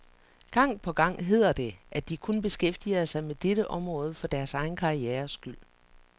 Gang på gang hedder det, at de kun beskæftiger sig med dette område for deres egen karrieres skyld.